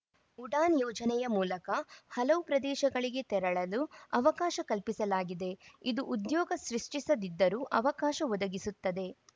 ಉಡಾನ್‌ ಯೋಜನೆ ಮೂಲಕ ಹಲವು ಪ್ರದೇಶಗಳಿಗೆ ತೆರಳಲು ಅವಕಾಶ ಕಲ್ಪಿಸಲಾಗಿದೆ ಇದು ಉದ್ಯೋಗ ಸೃಷ್ಟಿಸದಿದ್ದರೂ ಅವಕಾಶ ಒದಗಿಸುತ್ತದೆ